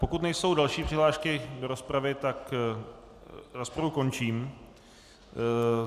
Pokud nejsou další přihlášky do rozpravy, tak rozpravu končím.